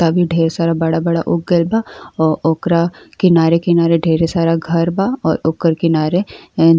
तभी ढ़ेर सारा बड़ा-बड़ा उग गईल बा। ओ ओकरा किनारे किनारे ढ़ेरे सारा घर बा और ओकर किनारे एं --